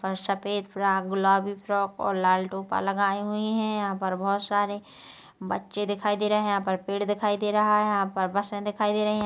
ओर सफेद फ्रॉक गुलाबी फ्रॉक ओर लाल टोपा लगाए हुए है यहाँ पर बहोत सारे बच्चे दिखाई दे रहे है यहाँ पर पेड़ दिखाई दे रहे है यहाँ पर बसे दिखाई दे रही है।